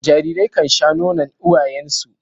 Jarirai kan sha nonon uwayen su.